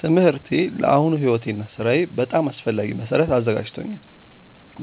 ትምህርቴ ለአሁኑ ሕይወቴ እና ሥራዬ በጣም አስፈላጊ መሠረት አዘጋጅቶኛል።